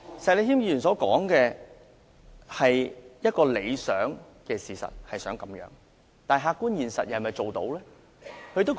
石議員所說的是一個理想，但客觀現實又是否做得到？